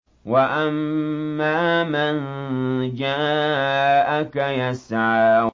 وَأَمَّا مَن جَاءَكَ يَسْعَىٰ